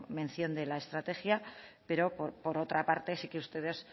mención de la estrategia pero por otra parte sí que ustedes